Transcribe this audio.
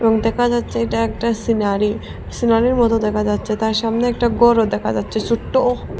দেখা যাচ্ছে এটা একটা সিনারি সিনারি -র মত দেখা যাচ্ছে তার সামনে একটা বড় দেখা যাচ্ছে ছোট্ট --